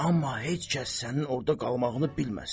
Amma heç kəs sənin orda qalmağını bilməsin.